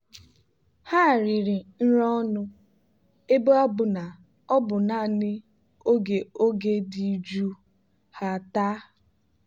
ha riri nri ọnụ ebe ọ bụ na ọ bụ naanị oge oge dị jụụ ha taa.